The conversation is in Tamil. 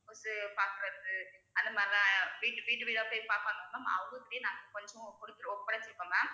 ஒருத்தரு பாக்கறது அந்த மாதிரிலாம் வீட்~ வீடு வீடா போய் பாப்பாங்க ma'am அவங்க கிட்டயும் நாங்க கொஞ்சம் கொடுத்து ஒப்ப~ ஒப்படைச்சிருக்கோம் ma'am